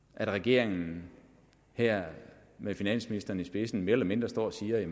at regeringen her med finansministeren i spidsen mere eller mindre står og siger at